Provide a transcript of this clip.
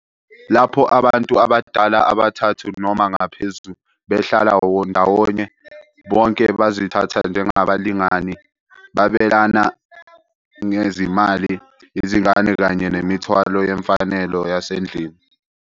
Lapho abantu abadala abathathu noma ngaphezulu behlala ndawonye, bonke bazithatha njengabalingani, babelana ngezimali, izingane kanye nemithwalo yemfanelo yasendlini.